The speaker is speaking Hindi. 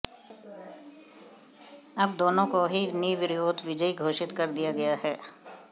अब दोनों को ही निर्विरोध विजयी घोषित कर दिया गया है